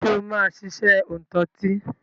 Ṣé o máa ṣiṣẹ́ òǹtọtí?